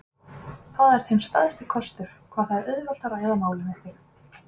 Það er þinn stærsti kostur, hvað það er auðvelt að ræða málin við þig.